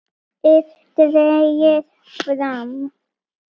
ið dregið frá.